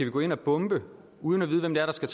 gå ind og bombe uden at vide hvem det er der skal